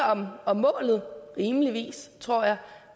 om målet rimelig enige tror jeg